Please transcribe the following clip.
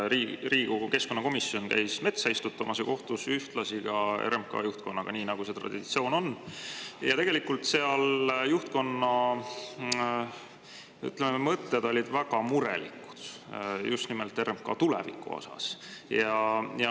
Riigikogu keskkonnakomisjon käis metsa istutamas ja kohtus ühtlasi RMK juhtkonnaga, nii nagu see traditsioon on, ja tegelikult seal juhtkonna mõtted olid väga murelikud just nimelt RMK tuleviku osas.